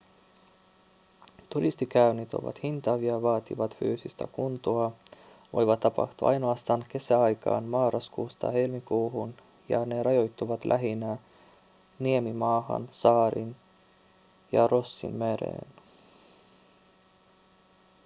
turistikäynnit ovat hintavia vaativat fyysistä kuntoa voivat tapahtua ainoastaan kesäaikaan marraskuusta helmikuuhun ja ne rajoittuvat lähinnä niemimaahan saariin ja rossinmereen